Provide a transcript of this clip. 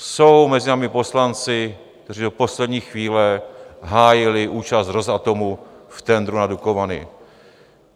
Jsou mezi námi poslanci, kteří do poslední chvíle hájili účast Rosatomu v tendru na Dukovany.